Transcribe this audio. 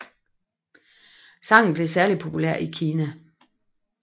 Sangen blev særlig populær i Kina